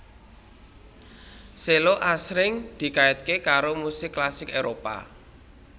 Cello asring dikaitke karo musik klasik Éropah